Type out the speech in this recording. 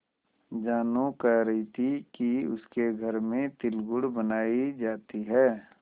जानू कह रही थी कि उसके घर में तिलगुड़ बनायी जाती है